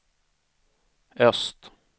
öst